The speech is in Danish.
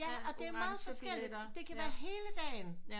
Ja og det er meget forskelligt det kan være hele dagen